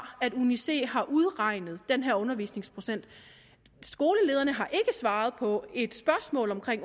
at uni c har udregnet den her undervisningsprocent skolelederen har ikke svaret på et spørgsmål om